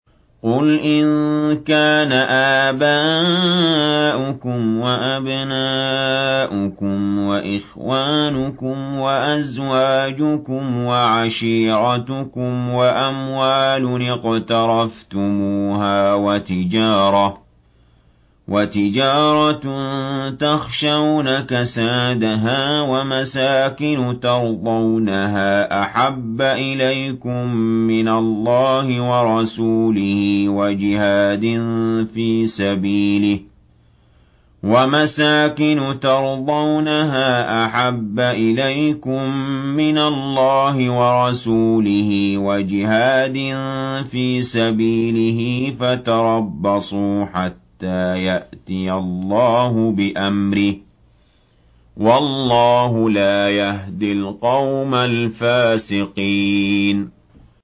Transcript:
قُلْ إِن كَانَ آبَاؤُكُمْ وَأَبْنَاؤُكُمْ وَإِخْوَانُكُمْ وَأَزْوَاجُكُمْ وَعَشِيرَتُكُمْ وَأَمْوَالٌ اقْتَرَفْتُمُوهَا وَتِجَارَةٌ تَخْشَوْنَ كَسَادَهَا وَمَسَاكِنُ تَرْضَوْنَهَا أَحَبَّ إِلَيْكُم مِّنَ اللَّهِ وَرَسُولِهِ وَجِهَادٍ فِي سَبِيلِهِ فَتَرَبَّصُوا حَتَّىٰ يَأْتِيَ اللَّهُ بِأَمْرِهِ ۗ وَاللَّهُ لَا يَهْدِي الْقَوْمَ الْفَاسِقِينَ